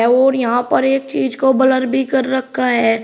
और यहां पर एक चीज को ब्लर भी कर रखा है।